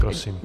Prosím.